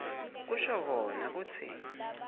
kusho kona kutsi